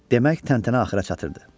Demək təntənə axıra çatırdı.